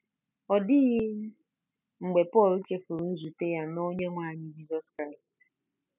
Ọ dịghị mgbe Pọl chefuru nzute ya na Onyenwe anyị Jizọs Kraịst